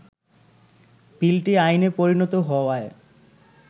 বিলটি আইনে পরিণত হওয়ায়